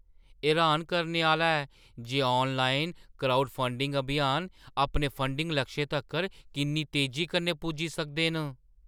एह् र्‌हान करने आह्‌ला ऐ जे आनलाइन क्राउडफंडिंग अभियान अपने फंडिग लक्षें तक्कर किन्नी तेजी कन्नै पुज्जी सकदे न।